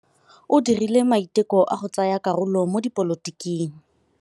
O dirile maitekô a go tsaya karolo mo dipolotiking.